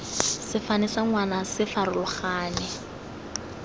sefane sa ngwana se farologane